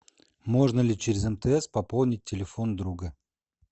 можно ли через мтс пополнить телефон друга